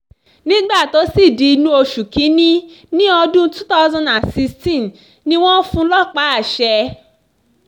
nígbà tó sì di inú oṣù kìn-ín-ní ọdún twenty sixteen ni wọ́n fún un lọ́pá àṣẹ